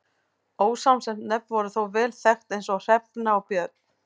Ósamsett nöfn voru þó vel þekkt eins og Hrefna og Björn.